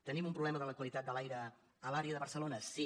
tenim un problema de la qualitat de l’aire a l’àrea de barcelona sí